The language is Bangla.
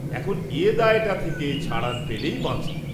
এখন এ দায়টা থেকে ছাড়ান পেলেই বাঁচি।